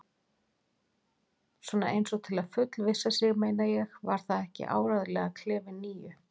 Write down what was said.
Svona eins og til að fullvissa sig, meina ég: Var það ekki áreiðanlega klefi níu?